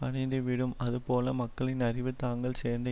அனிந்துவிடும் அதுபோல மக்களின் அறிவு தாங்கள் சேர்ந்த